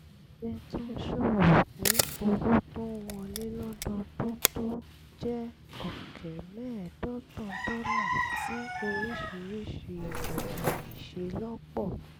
ẹgbẹ́ tó ń ṣòwò pín owó tó ń wọlé lọ́dọọdún tó jẹ́ ọ̀kẹ́ mẹ́ẹ̀ẹ́dọ́gbọ̀n dọ́là sí oríṣiríṣi ọ̀nà ìṣelọ́pọ̀